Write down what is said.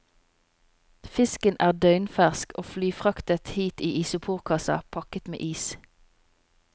Fisken er døgnfersk og flyfraktet hit i isoporkasser pakket med is.